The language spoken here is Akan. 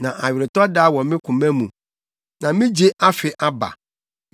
Na aweretɔda wɔ me koma mu na me gye afe aba.